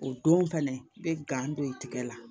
O don fɛnɛ i be gan don i tigɛ la